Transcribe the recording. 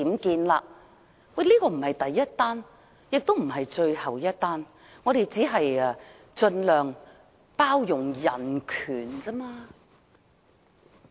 其實，當前的做法並非第一宗，也不是最後一宗，我們只是盡量包容人權而已。